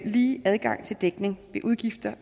lige adgang til dækning ved udgifter